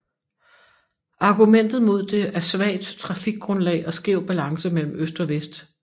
Argumentet mod det er svagt trafikgrundlag og skæv balance mellem øst og vest